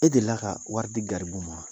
E delila ka wari di garibu ma ?